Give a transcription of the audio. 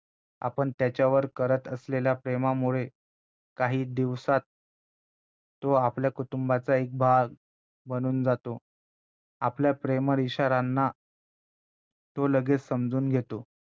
आपण त्याच्यावर करत असलेल्या प्रेमामुळे काही दिवसांत तो आपल्या कुटुंबाचा एक भाग बनून जातो आपल्या प्रेमळ इशाऱ्यांना तो लगेचं समजून घेतो